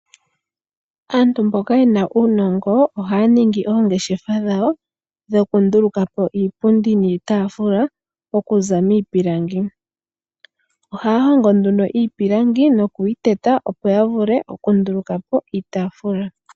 Aantu mboka ye na uunongo ohaya ningi oongeshefa dhawo dhoku nduluka po iipundi niitaafula okuza miipilangi. Ohaya hongo nduno iipilangi noku yi teta opo ya vule oku nduluka po iitaafula.